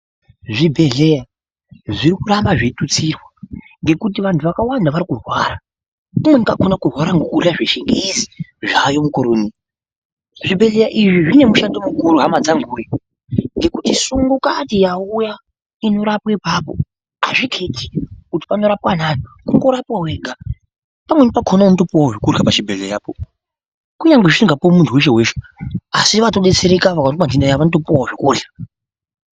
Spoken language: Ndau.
Zvibhedhleya zvirikuramba zveitutsirwa ngekuti vantu vakawanda varikurwara ndiyani ungakona kurwara ngekurya zvechingezi zvaayo mukore unowu. Zvibhedhleya izvi zvinemushando mukuru hama dzanguwe ngekuti sungukati yauya inorapwe ipapo azviketi kuti panorapwa anani kungorapwa wega. Pamweni pakona unotopuwawo chokurya pachibhehlerapo. Kunyangwe zvisingapuwi muntu weshe-weshe asi vatodetserewo waoneka ntenda dzawo vanopuwawo zvekurya.